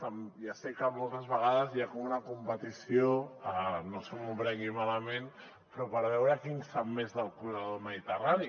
ja sé que moltes vegades hi ha com una competició no se m’ho prengui malament per veure qui en sap més del corredor mediterrani